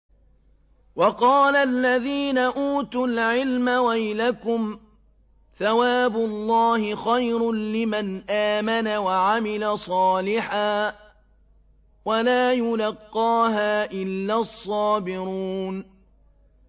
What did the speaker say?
وَقَالَ الَّذِينَ أُوتُوا الْعِلْمَ وَيْلَكُمْ ثَوَابُ اللَّهِ خَيْرٌ لِّمَنْ آمَنَ وَعَمِلَ صَالِحًا وَلَا يُلَقَّاهَا إِلَّا الصَّابِرُونَ